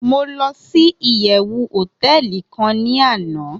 mo losi iyewu hoteeli kan ni ana